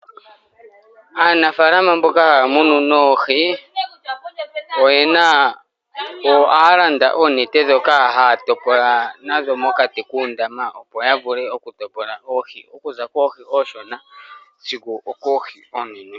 Aanafaalama mboka haya munu oohi . Ohaya landa oonete ndhoka haya topola nadho mokati kuundama opo ya vule oku topola oohi okuza koohi oonshona sigo okoohi oonene.